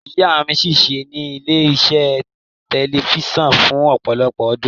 Ìyá mi ṣiṣẹ́ ní ilé-iṣẹ́ tẹlifíṣàn fún ọ̀pọ̀lọpọ̀ ọdún.